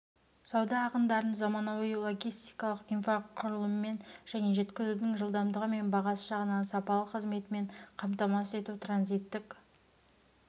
сауда ағындарын заманауи логистикалық инфрақұрылыммен және жеткізудің жылдамдығы мен бағасы жағынан сапалы қызметімен қамтамасыз ету транзиттік